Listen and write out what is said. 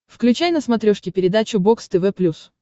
включай на смотрешке передачу бокс тв плюс